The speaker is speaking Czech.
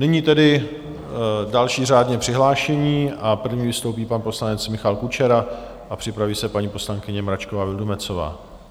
Nyní tedy další řádně přihlášení a první vystoupí pan poslanec Michal Kučera a připraví se paní poslankyně Mračková Vildumetzová.